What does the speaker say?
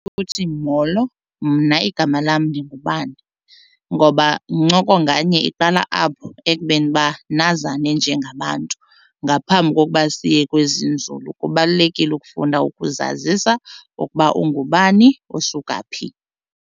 Molo, mna igama lam ndingubani ngoba ncoko nganye iqala apho ekubeni uba nazane njengabantu. Ngaphambi kokuba siye kwezinzulu kubalulekile ukufunda ukuzazisa ukuba ungubani usuka phi.